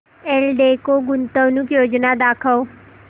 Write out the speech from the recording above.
एल्डेको गुंतवणूक योजना दाखव